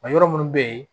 A yɔrɔ minnu bɛ yen